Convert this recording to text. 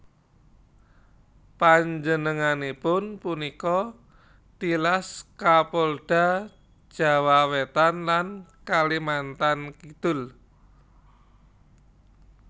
Panjenenganipun punika tilas Kapolda Jawa Wétan lan Kalimantan Kidul